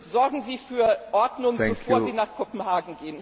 Und sorgen Sie für Ordnung, bevor Sie nach Kopenhagen gehen